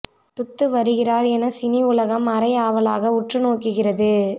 டுத்து வருகிறார் என சினி உலகம் அரை ஆவலாக உற்று நோக்குகிறது